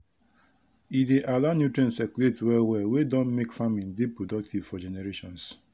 e dey allow nutrient circulate well well wey don make farming dey productive for generations